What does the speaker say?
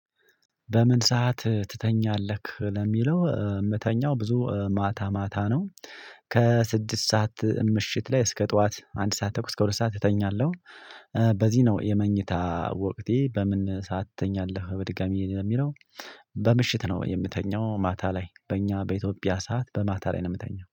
በምን ሰዓት ትተኛለህ? ለሚለው የምተኛው ብዙ ማታ ማታ ነው። ከስድስት ሰዓት ምሽት ላይ እስከ ጠዋት አንድ ሰዓት ተኩል እስከ ሁለት ሰዓት ትተኛለህ። በዚህ ነው የመኝታ ወቅቴ በምን ሰዓት ትተኛለህ? በድጋሚ ለሚለው። በምሽት ነው የምተኛው ማታ ላይ በእኛ በኢትዮጵያ ሰዓት በማታ ላይ ነው የምተኛው